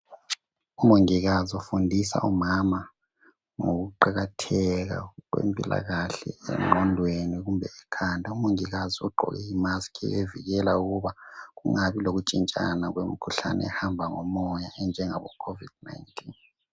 Umongikazi ufundisa omama ngoku qakatheka kwempilakahle engqondweni kumbe ekhanda . Umongikazi ugqoke I mask evikela ukuba kungabi lokutshintshana kwemikhuhlane ehamba ngumoya enjengabo COVID19.